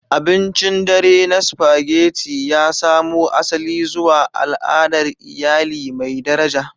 Abincin dare na Spaghetti ya samo asali zuwa al'adar iyali mai daraja.